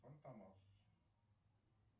фантомас